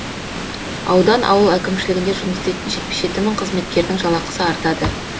аудан ауыл әкімшілігінде жұмыс істейтін жетпіс жеті мың қызметкердің жалақысы артады